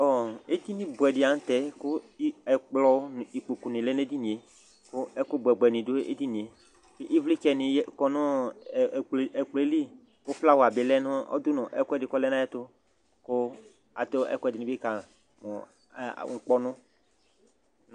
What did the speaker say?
Edini buɛdi la nu tɛ ɛkplɔ nu ikpoku nu lɛ nu edinie ku ɛkubuɛ buɛ dini du edinie ɛvlitsɛ dini kɔ nu ɛkplɔli flawa du nu ɛkuɛdi ku ɔlɛ nayɛtu ku adu ɛkuɛdini ka mu ukpɔnu